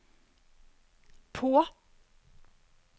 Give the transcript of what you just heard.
på